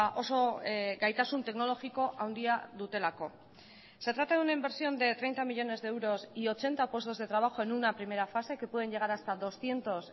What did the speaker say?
oso gaitasun teknologiko handia dutelako se trata de una inversión de treinta millónes de euros y ochenta puestos de trabajo en una primera fase que pueden llegar hasta doscientos